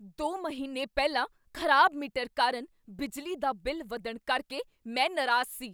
ਦੋ ਮਹੀਨੇ ਪਹਿਲਾਂ ਖ਼ਰਾਬ ਮੀਟਰ ਕਾਰਨ ਬਿਜਲੀ ਦਾ ਬਿੱਲ ਵਧਣ ਕਰਕੇ ਮੈਂ ਨਾਰਾਜ਼ ਸੀ।